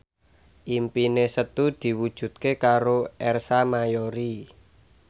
impine Setu diwujudke karo Ersa Mayori